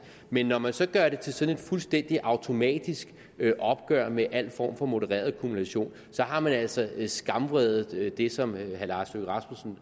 men når man så gør det til sådan et fuldstændig automatisk opgør med al form for modereret kumulation så har man altså skamredet det som herre lars